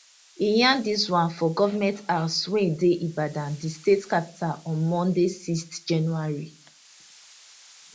e yarn dis one for goment house wey dey ibadan di state capital on monday 6 january